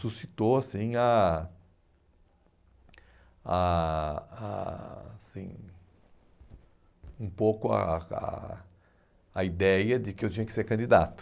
suscitou assim a a a assim um pouco a a a ideia de que eu tinha que ser candidato.